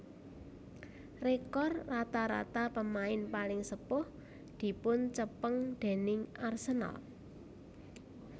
Rekor rata rata pemain paling sepuh dipuncepeng déning Arsenal